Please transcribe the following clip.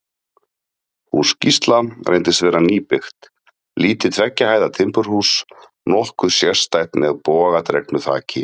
Hús Gísla reyndist vera nýbyggt, lítið tveggja hæða timburhús, nokkuð sérstætt, með bogadregnu þaki.